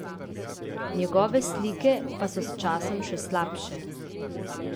Njegove slike pa so s časom še slabše!